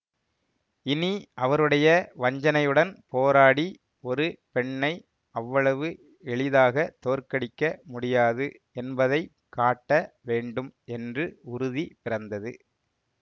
இனி அவருடைய வஞ்சனையுடன் போராடி ஒரு பெண்ணை அவ்வளவு எளிதாகத் தோற்கடிக்க முடியாது என்பதை காட்ட வேண்டும் என்று உறுதி பிறந்தது